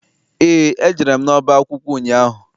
Eé, ejere m n'ọba akwụkwọ ụnyaahụ.